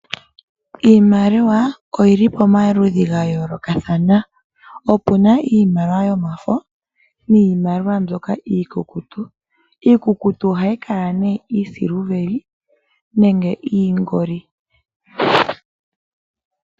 Iimaliwa oyi li pamaludhi ga yoolokathana, opuna iimaliwa yomafo niimaliwa mbyoka iikukutu. Iikukutu ohayi kala nee iiisiliveli nenge iingoli.